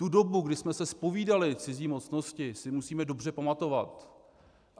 Tu dobu, kdy jsme se zpovídali cizí mocnosti, si musíme dobře pamatovat.